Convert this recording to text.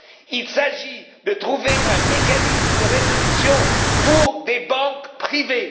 Il s'agit de trouver un mécanisme de résolution pour des banques privées.